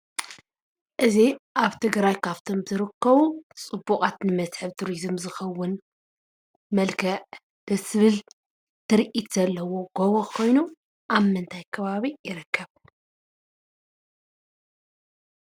እዚ ኣብ ትግራይ ካፍቶም ዝርከቡ ፅቡቃት ንመስሕብ ቱሪዝም ዝኾውን መልክዕ ደስ ዝብል ትርኢት ዘለዎ ጎቦ ኾይኑ ኣብ ምንታይ ከባቢ ይርከብ ?